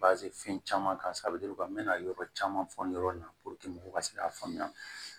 fɛn caman kan n mɛna yɔrɔ caman fɔ yɔrɔ in na mɔgɔw ka se k'a faamuya